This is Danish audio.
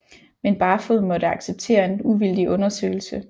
Men Barfoed måtte acceptere en uvildig undersøgelse